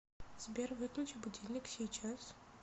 сбер выключи будильник сейчас